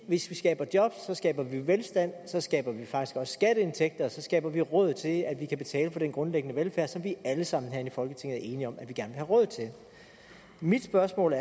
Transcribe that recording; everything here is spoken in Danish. hvis vi skaber jobs skaber vi velstand så skaber vi faktisk også skatteindtægter og så skaber vi råd til at at vi kan betale for den grundlæggende velfærd som vi alle sammen herinde i folketinget er enige om at vi gerne vil have råd til mit spørgsmål